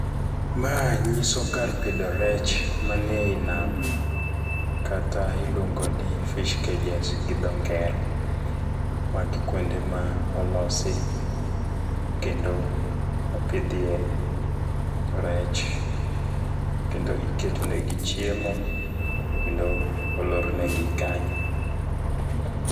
Ma nyiso kar pidho rech man ei nam, kata iluongo ni fish cages gi dho ngere. Magi kuonde ma olosi kendo opidhie rech kendo iketonegi chiemo kendo olornegi kanyo.